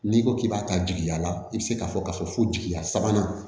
N'i ko k'i b'a ta jigiya la i bɛ se k'a fɔ k'a fɔ fo jigiya sabanan